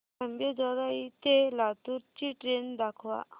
अंबेजोगाई ते लातूर ची ट्रेन दाखवा